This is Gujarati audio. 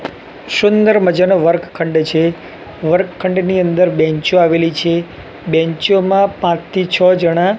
શુંદર મજાનો વર્કખંડ છે વર્કખંડની અંદર બેન્ચો આવેલી છે બેન્ચો મા પાંચ થી છ જણા--